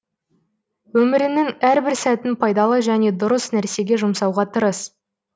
өміріңнің әрбір сәтін пайдалы және дұрыс нәрсеге жұмсауға тырыс